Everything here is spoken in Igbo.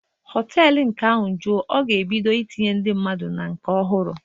Họtelu nke ahụ juo, a ga-ebido itinye ndị mmadụ na nke ọhụrụ